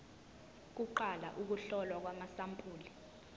kuqala ukuhlolwa kwamasampuli